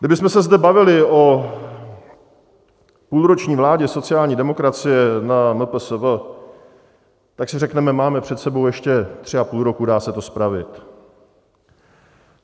Kdybychom se zde bavili o půlroční vládě sociální demokracie na MPSV, tak si řekneme, máme před sebou ještě tři a půl roku, dá se to spravit.